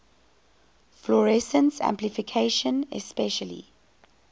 fluorescence amplification especially